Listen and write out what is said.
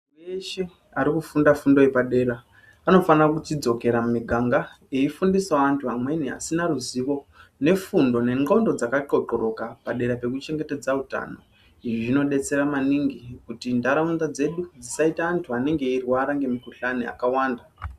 Muntu weshe ari kufunda fundo yepadera anofana kuchidzokera mumiganga eifundisawo vantu vamweni vasina ruzivo nefundo nendxondo dzakaqhoqhoroka padera pekuchengetedza utano, izvi zvinobetsera maningi kuti ndaraunda dzedu dzisaita antu anenge eyirwara ngemikhuhlani akawanda.